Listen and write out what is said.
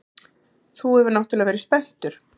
Þú hefur náttúrlega verið spenntur.